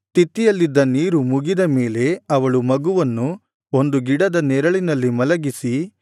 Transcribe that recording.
ತಿತ್ತಿಯಲ್ಲಿದ್ದ ನೀರು ಮುಗಿದ ಮೇಲೆ ಅವಳು ಮಗುವನ್ನು ಒಂದು ಗಿಡದ ನೆರಳಿನಲ್ಲಿ ಮಲಗಿಸಿ